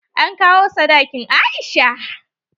An kawo sadakin Aisha.